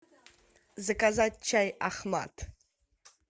заказать чай ахмад